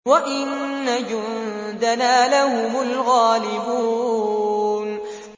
وَإِنَّ جُندَنَا لَهُمُ الْغَالِبُونَ